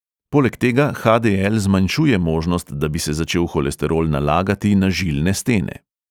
Poleg tega ha|de|el zmanjšuje možnost, da bi se začel holesterol nalagati na žilne stene.